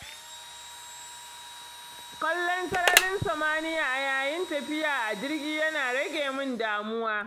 Kallon sararin samaniya a yayin tafiya a jirgi yana rage min damuwa.